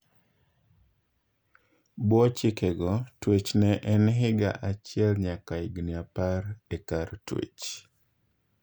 Bwoo chike go, twech ne en higa achiel nyaka higni apar e kar twech.